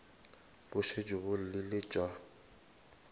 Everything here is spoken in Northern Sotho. go šetše go llile tša